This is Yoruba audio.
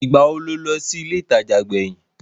Ìgbà wo lo lọ sí ilé ìtajà gbẹ̀yìn?